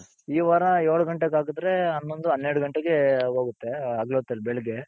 ಈ ವಾರ ಏಳ್ ಘಂಟೆಗೆ ಆಗ್ದ್ರೆ ಹನ್ನೊಂದು ಹನ್ನೆರ್ಡ್ ಘಂಟೆಗೆ ಹೋಗುತ್ತೆ ಹಗಲೊತ್ತಲ್ಲಿ ಬೆಳಿಗ್ಗೆ.